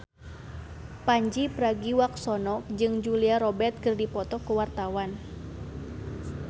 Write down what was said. Pandji Pragiwaksono jeung Julia Robert keur dipoto ku wartawan